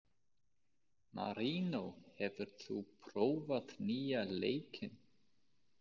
Marínó, hefur þú prófað nýja leikinn?